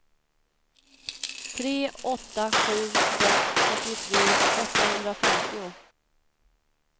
tre åtta sju sex fyrtiotre åttahundrafemtio